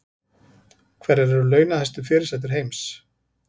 Hverjar eru launahæstu fyrirsætur heims